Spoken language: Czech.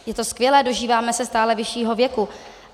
Je to skvělé, dožíváme se stále vyššího věku.